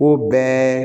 U bɛɛ